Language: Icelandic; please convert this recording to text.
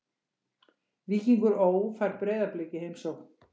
Víkingur Ó fær Breiðablik í heimsókn.